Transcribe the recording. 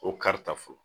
O karita fɔlɔ